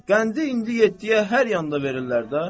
Qəndi indi yeddiyə hər yanda verirlər də.